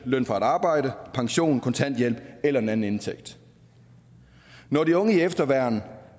løn fra et arbejde pension kontanthjælp eller en anden indtægt når de unge i efterværn